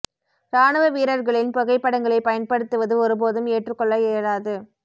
ராணுவ வீரர்களின் புகைப்படங்களை பயன்படுத்துவது ஒரு போதும் ஏற்றுக் கொள்ள இயலாது